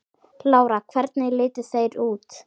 Lára: Hvernig litu þeir út?